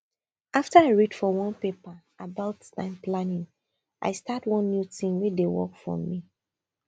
after i read for one paper about time planning i start one new tin wey dey work for me